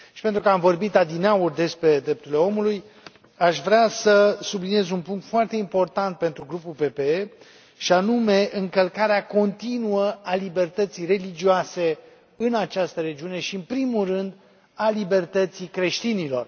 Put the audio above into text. Și, pentru că am vorbit adineauri despre drepturile omului, aș vrea să subliniez un punct foarte important pentru Grupul PPE, și anume încălcarea continuă a libertății religioase în această regiune și, în primul rând, a libertății creștinilor.